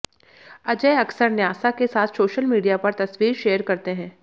अजय अक्सर न्यासा के साथ सोशल मीडिया पर तस्वीर शेयर करते हैं